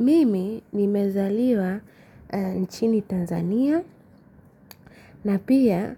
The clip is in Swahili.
Mimi nimezaliwa nchini Tanzania na pia